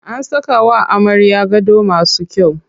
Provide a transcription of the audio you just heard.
An saka wa amaryar gado masu kyau.